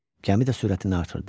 Gəmi də sürətini artırdı.